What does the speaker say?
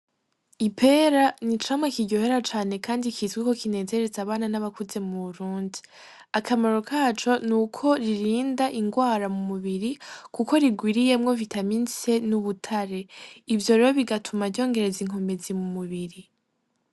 Ipera ni icamwa kiryohera cane kandi citwa ko kinezereza abana n'abakuze mu burundi, akamaro kaco nuko ririnda ingwara mu mubiri kuko rigwiriyemwo vitamine se n'ubutare ivyo rero bigatuma ryongereza inkomezi mu mubiri.